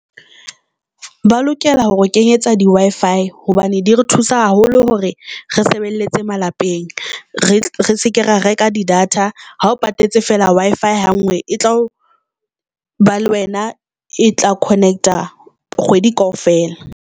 Ba lokela hore o kenyetsa di-Wi-Fi hobane di re thusa haholo hore re sebelletse malapeng, re seke ra reka di data ha o patetse fela Wi-Fi hangwe e tlo ba le wena e tla connect-a kgwedi kaofela.